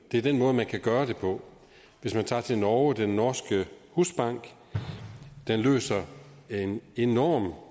er den måde man kan gøre det på hvis man tager til norge den norske husbank løser en enorm